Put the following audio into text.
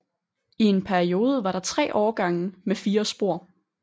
I en periode var der 3 årgange med 4 spor